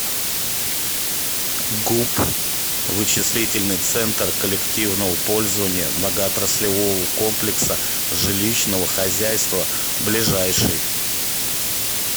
гуп вычислительный центр коллективного пользования многоотраслевого комплекса жилищного хозяйства ближайший